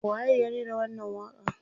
waye ya rera wannan waƙa n